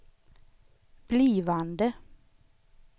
blivande